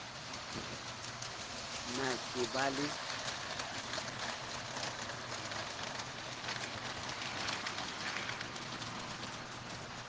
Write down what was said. p na ke ba le